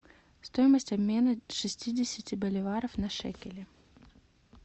стоимость обмена шестидесяти боливаров на шекели